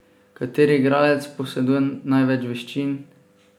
Kateri igralec poseduje največ veščin?